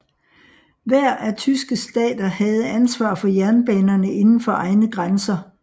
Hver af tyske stater havde ansvar for jernbanerne indenfor egne grænser